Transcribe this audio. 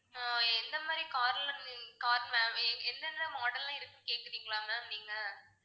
ஆஹ் எந்த மாதிரி car லாம் ma'am car எந்த எந்த model லாம் இருக்குன்னு கேக்குறீங்களா ma'am நீங்க